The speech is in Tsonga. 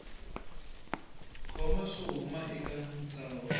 koma swo huma eka ntshaho